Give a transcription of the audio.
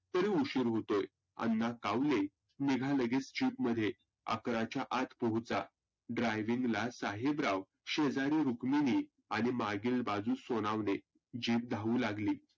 तरी उशिर होतोय. अण्णा कावले, निघा लगेच Jeep मध्ये अकराच्या आत पोहचा. driving ला साहेबराव शेजारी रुक्मिनी आणि मागिल बाजूस सोनावने. Jeep धावू लागली.